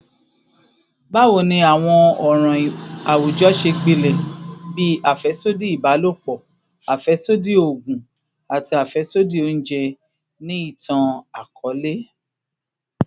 Bawo ni awọn ọran awujọ ṣe gbilẹ bii afẹsodi ibalopọ, afẹsodi oogun, ati afẹsodi ounjẹ ni itan-akọọlẹ?